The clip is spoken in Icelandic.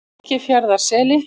Eskifjarðarseli